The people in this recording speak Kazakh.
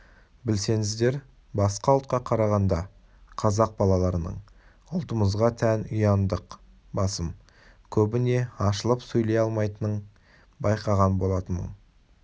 білсеңіздер басқа ұлтқа қарағанда қазақ балаларының ұлттымызға тән ұяңдық басым көбіне ашылып сөйлей алмайтынын байқаған болатынмын